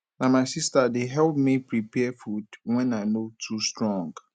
na my sister dey help me prepare food wen i no too strong